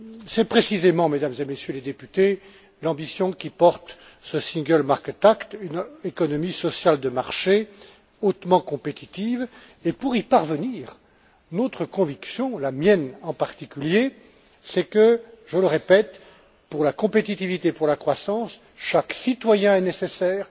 C'est précisément, Mesdames et Messieurs les députés, l'ambition qui porte ce single market act une économie sociale de marché hautement compétitive, et pour y parvenir, notre conviction, la mienne en particulier, c'est que je le répète pour la compétitivité et pour la croissance, chaque citoyen est nécessaire,